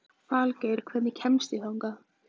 Falgeir, hvernig kemst ég þangað?